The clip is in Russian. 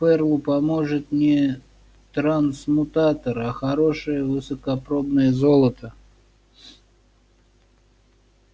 ферлу поможет не трансмутатор а хорошее высокопробное золото